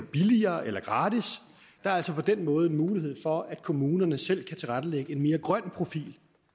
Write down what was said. billigere eller gratis der er altså på den måde mulighed for at kommunerne selv kan tilrettelægge en mere grøn profil